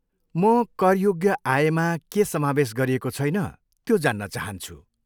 म करयोग्य आयमा के समावेस गरिएको छैन, त्यो जान्न चाहान्छु।